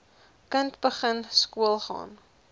kind begin skoolgaan